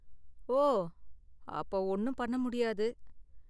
ஓ, அப்ப ஒன்னும் பண்ண முடியாது.